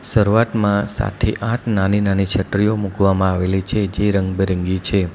શરૂઆતમાં સાથે આઠ નાની નાની છત્રીઓ મૂકવામાં આવેલી છે જે રંગબેરંગી છે.